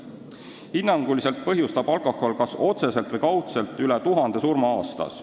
Hinnanguliselt põhjustab alkohol kas otseselt või kaudselt üle tuhande surma aastas.